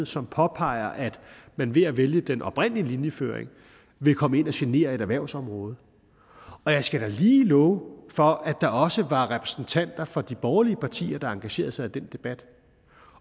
som påpeger at man ved at vælge den oprindelige linjeføring vil komme ind og genere et erhvervsområde og jeg skal da lige love for at der også var repræsentanter for de borgerlige partier der engagerede sig i den debat